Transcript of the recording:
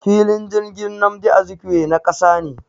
Filin jirgin Nmadi Azikiwe na kasa ne.